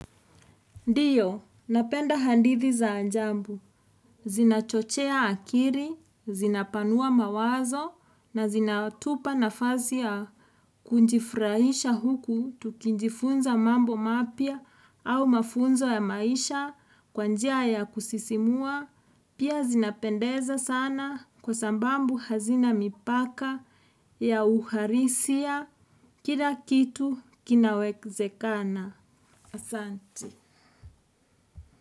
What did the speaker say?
Ndiyo, napenda hadithi za ajabu. Zinachochea akili, zinapanua mawazo na zinatupa nafasi ya kujifurahisha huku tukijifunza mambo mapya au mafunzo ya maisha kwa njia ya kusisimua. Pia zinapendeza sana kwa sababu hazina mipaka ya uharisia Kila kitu kinawezekana. Asanti.